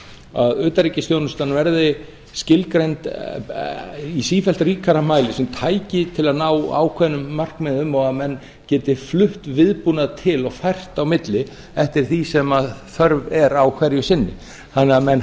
að utanríkisþjónustan verði skilgreind í sífellt ríkari mæli sem tæki til að ná ákveðnum markmiðum og að menn geti flutt viðbúnað til og fært á milli eftir því sem þörf er á hverju sinni þannig að menn